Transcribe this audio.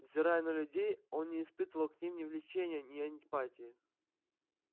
взирая на людей он не испытывал к ним ни влечения ни антипатии